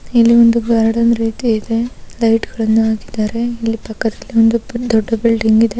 ಇಲ್ಲಿ ಒಂದು ಗಾರ್ಡನ್ ರೀತಿ ಇದೆ. ಲೈಟ್ಗ ಳನ್ನ ಹಾಕಿದ್ದಾರೆ. ಇಲ್ಲಿ ಪಕ್ಕದಲ್ಲಿ ಒಂದು ದೊಡ್ಡ ಈ ಬಿಲ್ಡಿಂಗ್ ಇದೆ.